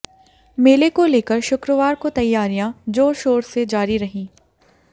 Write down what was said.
मेले को लेकर शुक्रवार को तैयारियां जोर शोर से जारी रहीं